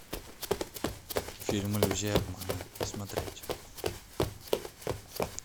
фильм иллюзия обмана смотреть